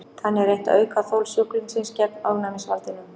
Þannig er reynt að auka þol sjúklingsins gegn ofnæmisvaldinum.